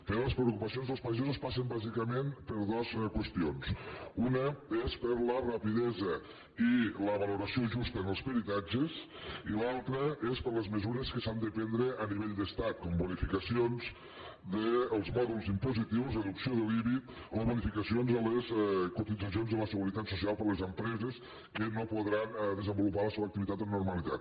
però les preocupacions dels pagesos passen bàsicament per dos qüestions una és per la rapidesa i la valoració justa en els peritatges i l’altra és per les mesures que s’han de prendre a nivell d’estat com bonificacions dels mòduls impositius reducció de l’ibi o bonificacions a les cotitzacions a la seguretat social per a les empreses que no podran desenvolupar la seva activitat amb normalitat